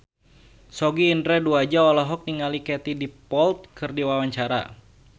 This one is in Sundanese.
Sogi Indra Duaja olohok ningali Katie Dippold keur diwawancara